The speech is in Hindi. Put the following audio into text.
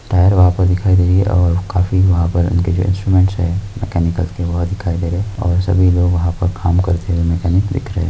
पैर आप को दिखाई दे रहे है और काफी वहा पर उनके जो इन्स्टुमेंट है मैकनिकल के वो दिखाई रहे और सभी लोग वह पर काम करते मकैनिक दिख रहे हैं।